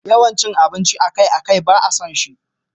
Wannan cin abinci akai-akai ba a son shi.